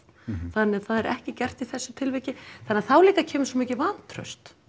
þannig að það er ekki gert í þessu tilviki þannig að þá líka kemur svo mikið vantraust